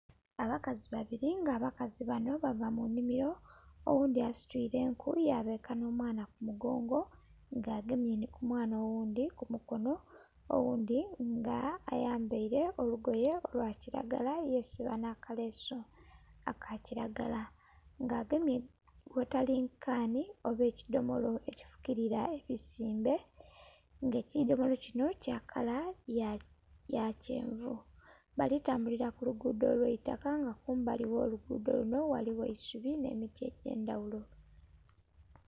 Abakazi babiri nga abakazi banho bava munhimiro oghundhi asitwire enku yabeeka nh'omwaana kumugongo nga agemye nhi kumwaana oghundhi kumukono, oghundhi nga ayambeile olugoye lwakiragala yesiba nhakalesu akakiragala nga agemye wotalingi kanhi oba ekidhomolo ekifukirira ebisimbe nga ekidhomolo kinho kyakala yakyenvu. Balitambulira kulugudho lwaitaka nga kumbali ogholugudho lunho ghaligho eisubi nh'emiti egyendhaghulo.